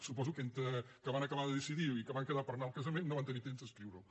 suposo que entre que van acabar de decidir i que van quedar per anar al casament no van tenir temps d’escriure ho